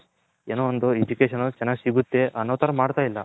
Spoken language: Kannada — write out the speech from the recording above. ಏನೋ ಒಂದು Education ಅನ್ನೋದು ಚೆನ್ನಾಗ್ ಸಿಗುತೆ ಅನ್ನೋ ತರ ಮಾಡ್ತಿಲ್ಲ .